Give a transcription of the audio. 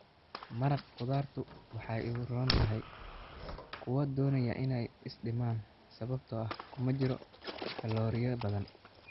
Maraq khudaartu waxa ay u roon tahay kuwa doonaya in ay is dhimaan sababtoo ah kuma jiraan kalooriyo badan.